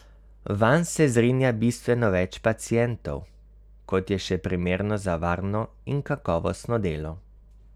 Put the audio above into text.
Vanj se zgrinja bistveno več pacientov, kot je še primerno za varno in kakovostno delo.